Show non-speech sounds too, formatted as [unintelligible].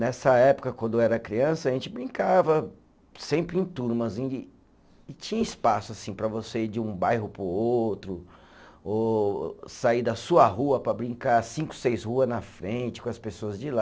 Nessa época, quando eu era criança, a gente brincava sempre em turmas, [unintelligible] e tinha espaço assim para você ir de um bairro para o outro, ou sair da sua rua para brincar cinco, seis rua na frente com as pessoas de lá.